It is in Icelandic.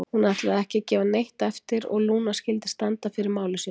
Hún ætlaði ekki að gefa neitt eftir og Lúna skyldi standa fyrir máli sínu.